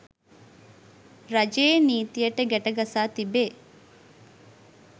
රජයේ නීතියට ගැටගසා තිබේ